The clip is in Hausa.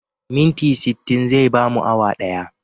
Minti sittin zai bamu awa ɗaya.